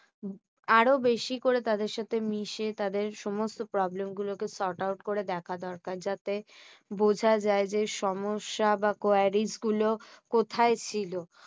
আরো বেশি করে তাদের সাথে মিশে তাদের সমস্ত problem গুলো কে sort out করে দেখা দরকার। যাতে বুঝা যায় যে সমস্যা বা quaris গুলো কোথায় ছিল।